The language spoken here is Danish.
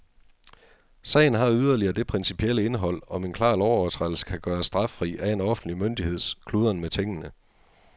Sagen har yderligere det principielle indhold, om en klar lovovertrædelse kan gøres straffri af en offentlig myndigheds kludren med tingene.